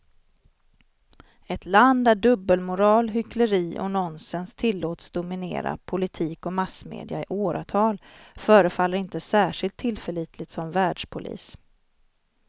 Ett land där dubbelmoral, hyckleri och nonsens tillåts dominera politik och massmedia i åratal förefaller inte särskilt tillförlitligt som världspolis.